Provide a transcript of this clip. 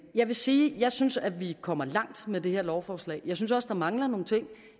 jeg vil sige at jeg synes at vi kommer langt med det her lovforslag jeg synes også at der mangler nogle ting